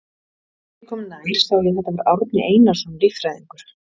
Þegar ég kom nær sá ég að þetta var Árni Einarsson líffræðingur.